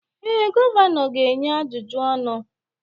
Ee, gọvanọ ga-enye ajụjụ ọnụ